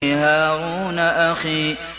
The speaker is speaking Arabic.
هَارُونَ أَخِي